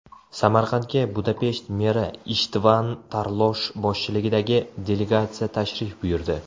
Samarqandga Budapesht meri Ishtvan Tarlosh boshchiligidagi delegatsiya tashrif buyurdi.